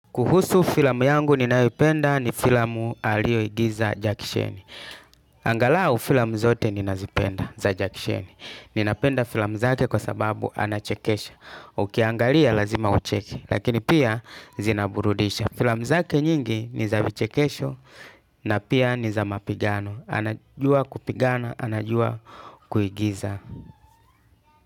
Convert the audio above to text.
Kuhusu filamu yangu ninayoipenda ni filamu aliyoigiza Jack Chen. Angalau filamu zote ninazipenda za Jack. Cheni. Ninapenda filamu zake kwa sababu anachekesha. Ukiangalia lazima ucheke lakini pia zinaburudisha. Filamu zake nyingi ni za vichekesho na pia ni za mapigano. Anajua kupigana, anajua kuigiza.